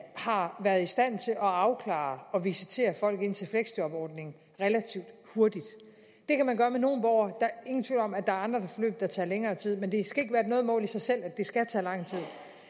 har været i stand til at afklare og visitere folk til fleksjobordningen relativt hurtigt det kan man gøre med nogle borgere er ingen tvivl om at der er andre forløb der tager længere tid men det skal ikke være noget mål i sig selv at det skal tage lang tid